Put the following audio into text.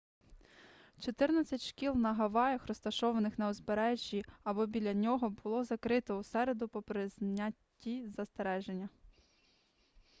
чотирнадцять шкіл на гаваях розташованих на узбережжі або біля нього було закрито у середу попри зняті застереження